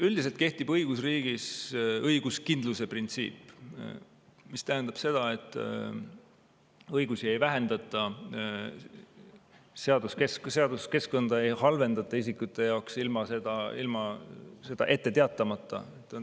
Üldiselt kehtib õigusriigis õiguskindluse printsiip, mis tähendab seda, et õigusi ei vähendata ja seaduskeskkonda ei halvendata isikute jaoks ilma sellest ette teatamata.